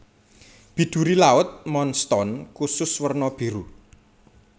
Biduri laut moonstone kusus werna biru